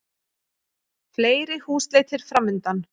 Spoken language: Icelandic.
Fleiri húsleitir framundan